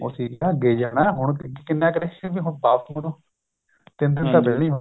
ਠੀਕ ਆ ਅੱਗੇ ਜਾਣਾ ਹੁਣ ਕਿੰਨਾ ਕੁ ਹੁਣ ਵਾਪਿਸ ਮੁੜੋ ਤਿੰਨ ਦਿਨ ਤਾਂ ਪਹਿਲਾਂ ਹੀ ਹੋਗੇ